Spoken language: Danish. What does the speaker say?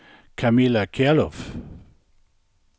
Camilla Kjærulff